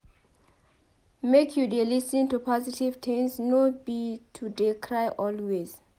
Make you dey lis ten to positive things no be to dey cry always.